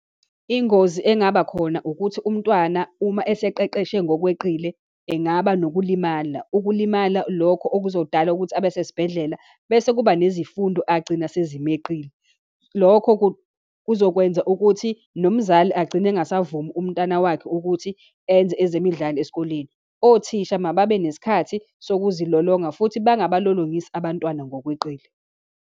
Ingozi engaba khona ukuthi umntwana uma eseqeqeshe ngokweqile engaba nokulimala, ukulimala lokho okuzodala ukuthi abasesibhedlela, bese kuba nezifundo agcina sezimeqile. Lokho kuzokwenza ukuthi nomzali agcine engasavumi umntana wakhe ukuthi enze ezemidlalo esikoleni. Othisha mababe nesikhathi sokuzilolonga, futhi bangabalolongisi abantwana ngokweqile.